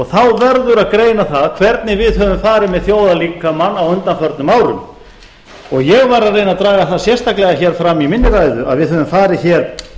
þá verður að greina það hvernig við höfum farið með þjóðarlíkamann á undanförnum árum ég var að reyna að draga það sérstaklega hér fram í minni ræðu að við hefðum farið hér